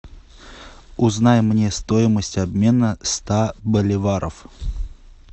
узнай мне стоимость обмена ста боливаров